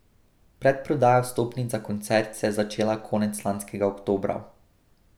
Predprodaja vstopnic za koncert se je začela konec lanskega oktobra.